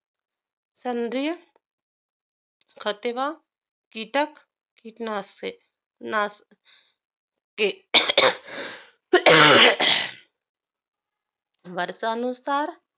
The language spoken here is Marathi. संद्रिय खेत वा, कीटक कीटनाशे नाश के वर्षानुसार